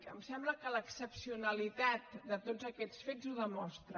em sembla que l’excepcionalitat de tots aquests fets ho demostra